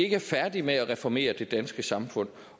ikke er færdige med at reformere det danske samfund